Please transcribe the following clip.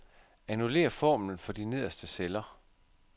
Annullér formlen for de nederste celler.